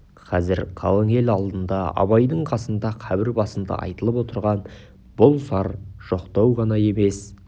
қазір қалың ел алдында абайдың қасында қабір басында айтылып отырған бұл зар жоқтау ғана емес